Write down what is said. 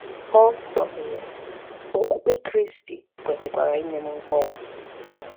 Ọ gbakwụnye: “Okpukpe Kristi kwesịkwara inye m nkọwa.”